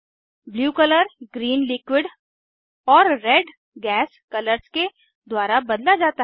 blue colour green liquid और red gas colours के द्वारा बदला जाता है